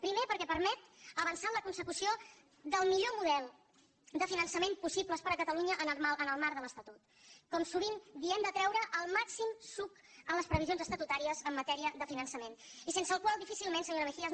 primer perquè permet avançar en la consecució del millor model de finançament possible per a catalunya en el marc de l’estatut com sovint diem de treure el màxim suc a les previsions estatutàries en matèria de finançament i sense el qual difícilment senyora mejías